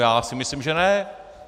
Já si myslím, že ne!